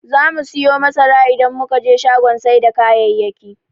Zamu siyo masara idan muka je shagon sai da kayayyaki.